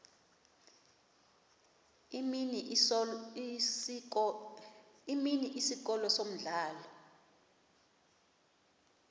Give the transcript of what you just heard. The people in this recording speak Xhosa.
imini isikolo umdlalo